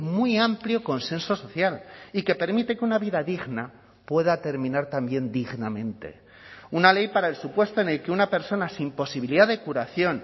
muy amplio consenso social y que permite que una vida digna pueda terminar también dignamente una ley para el supuesto en el que una persona sin posibilidad de curación